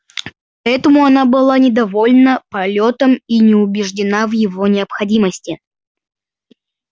поэтому она была недовольна полётом и не убеждена в его необходимости